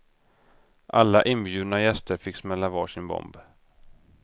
Alla inbjudna gäster fick smälla var sin bomb.